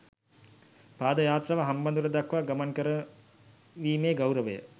පාද යාත්‍රාව හම්බන්තොට දක්වා ගමන් කරවීමේ ගෞරවය